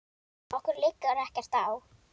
Okkur liggur ekkert á